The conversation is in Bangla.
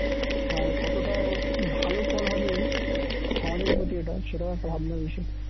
আর কতটা ভালো ফল হবে সমাজের প্রতি এটাও সেটাও একটা ভাবনার বিষয়